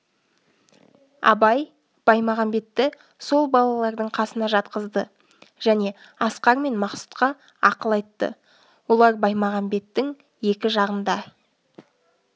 абай баймағамбетті сол балалардың қасына жатқызды және асқар мен мақсұтқа ақыл айтты олар баймағамбеттің екі жағында